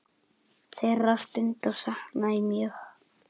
Þeirra stunda sakna ég mjög.